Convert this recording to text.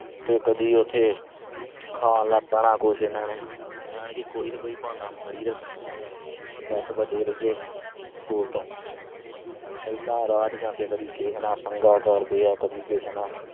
ਤੇ ਕਦੀ ਉਥੇ ਖਾਣ ਲੱਗ ਪੈਣਾ ਕੁਛ ਇਹਨਾਂ ਨੇ ਯਾਨੀ ਕੋਈ ਨਾ ਕੋਈ ਬਹਾਨਾ ਮਾਰੀ ਰੱਖਣਾ। ਬਸ ਬਚੇ ਰਹੀਏ school ਤੋਂ। ਏਦਾ ਰਾਹ ਚ ਜਾਂਦੇ ਕਦੀ ਕਿਸ ਨਾਲ ਪੰਗਾ ਕਰਦੇ ਆ, ਕਦੇ ਕਿਸ ਨਾਲ